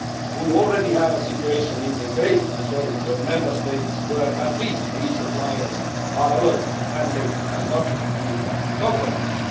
We already have a situation in the great majority of Member States where at least three suppliers are allowed, and safety has not been compromised.